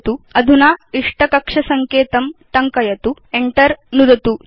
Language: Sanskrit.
अधुना इष्टं कक्ष सङ्केतं टङ्कयतु Enter नुदतु च